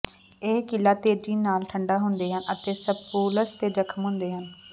ਇਹ ਕਿਲ੍ਹਾ ਤੇਜ਼ੀ ਨਾਲ ਠੰਢਾ ਹੁੰਦੇ ਹਨ ਅਤੇ ਸਪੂਲਸ ਤੇ ਜ਼ਖ਼ਮ ਹੁੰਦੇ ਹਨ